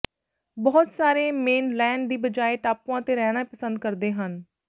ਬਹੁਤ ਸਾਰੇ ਮੇਨਲੈਂਡ ਦੀ ਬਜਾਏ ਟਾਪੂਆਂ ਤੇ ਰਹਿਣੇ ਪਸੰਦ ਕਰਦੇ ਹਨ